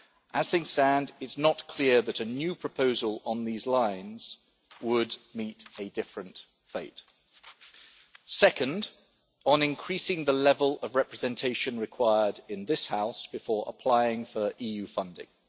As things stand, it is not clear that a new proposal on these lines would meet a different fate. Second, on increasing the level of representation required in this House before applying for EU funding.